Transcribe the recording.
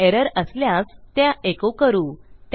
error असल्यास त्या echo करू